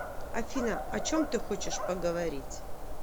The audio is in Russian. афина о чем ты хочешь поговорить